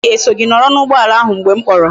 Nwa nne gi e so gi noro na ugboala ahu mgbe m kporo?